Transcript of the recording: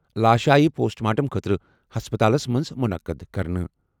لاش آیہِ post mortem خٲطرٕ ہسپتالس منٛز منعقد کرنہٕ۔